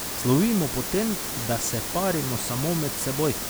Slovimo po tem, da se parimo samo med seboj.